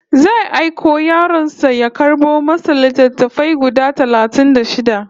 Zai aiki yaron sa ya karɓo masa littattafai guda talatin da shida